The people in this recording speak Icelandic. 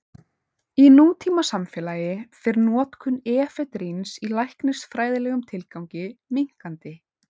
Í nútímasamfélagi fer notkun efedríns í læknisfræðilegum tilgangi minnkandi.